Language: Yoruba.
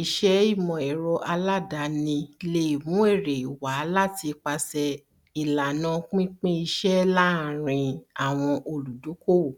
iṣẹ ìmọ ẹrọ aládani lè mú èrè wá láti ipasẹ ìlànà pínpín iṣẹ láàrin àwọn olùdóokòòwò